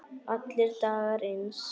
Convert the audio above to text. Allir dagar eins.